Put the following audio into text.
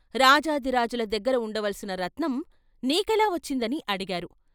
రాజాధిరాజుల దగ్గర ఉండవలసిన రత్నం నీకెలా వచ్చిందని అడిగారు.